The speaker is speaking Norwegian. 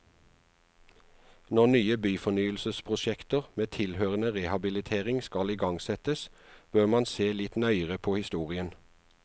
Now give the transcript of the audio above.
Når nye byfornyelsesprosjekter med tilhørende rehabilitering skal igangsettes, bør man se litt nøyere på historien.